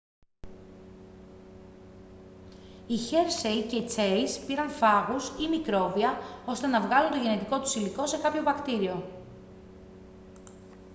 οι χέρσεϋ και τσέις πήραν φάγους ή μικρόβια ώστε να βάλουν το γενετικό τους υλικό σε κάποιο βακτήριο